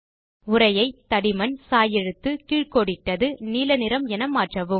உரையை தடிமன் சாய் எழுத்து கீழ் கோடிட்டது நீல நிறம் என மாற்றவும்